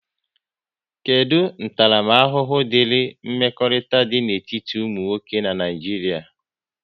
Kedụ ntaramahụhụ diri mmekọrịta dị n'etiti ụmụ nwoke n'Naijiria?